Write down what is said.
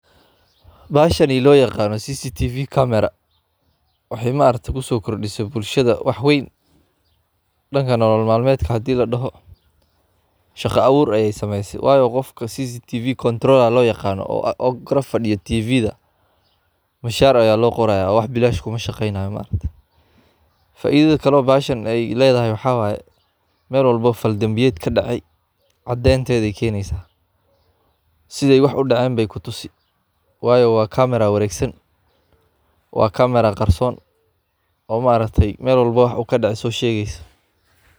Bahashani loo yaqano CCTV camera waxay ma aragtay kusookordhisay bulshadha wax weeyn dhanka nolol maalmeedhka hadhi ladhoho shaqo abuur ayeey sameeysay waayo qofka CCTV controller looyaqaano korfadhiyo TV mishaar aya loqoraya oo wax bilaash kumashaqenaayo faaidhadha kale bahashan leedhahay waxa waye meel walbo oo fall dhambiyeed kadacay cadheeynteedhey keeneysa sithey wax udheceen bey kutusi waayo wa kamera wareegsan waa kamera qarsoon oo ma aragtay meel walbo wax kadhaco so sheegeyso